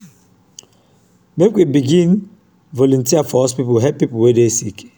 make we begin volunteer for hospital help pipo wey dey sick.